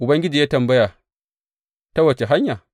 Ubangiji ya yi tambaya Ta wace hanya?’